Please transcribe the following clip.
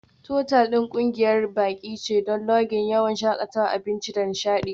Otal ɗin ƙungiyar baƙi ce don Lodging, yawon shakatawa, abinci da nishaɗi.